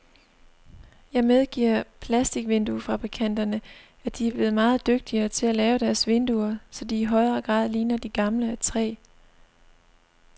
Jeg medgiver plasticvinduefabrikanterne, at de er blevet meget dygtigere til at lave deres vinduer, så de i højere grad ligner de gamle af træ.